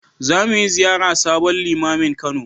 Za mu ziyarci sabon Limamin Kano.